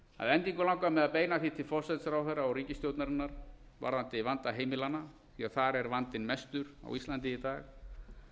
að endingu langar mig að beina því til forsætisráðherra og ríkisstjórnarinnar varðandi vanda heimilanna því þar er vandinn mestur á íslandi í dag